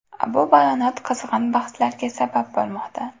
Bu bayonot qizg‘in bahslarga sabab bo‘lmoqda.